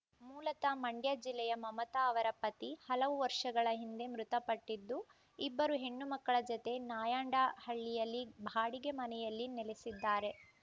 ಮೂಲತಃ ಮಂಡ್ಯ ಜಿಲ್ಲೆಯ ಮಮತಾ ಅವರ ಪತಿ ಹಲವು ವರ್ಷಗಳ ಹಿಂದೆ ಮೃತಪಟ್ಟಿದ್ದು ಇಬ್ಬರು ಹೆಣ್ಣು ಮಕ್ಕಳ ಜತೆ ನಾಯಂಡಹಳ್ಳಿಯಲ್ಲಿ ಬಾಡಿಗೆ ಮನೆಯಲ್ಲಿ ನೆಲೆಸಿದ್ದಾರೆ